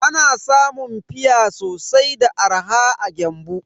Ana samun fia sosai da arha a Gembu.